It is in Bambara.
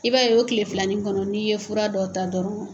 I b'a ye o kile filanin kɔnɔ n'i ye fura dɔ ta dɔrɔn